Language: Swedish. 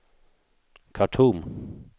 Khartoum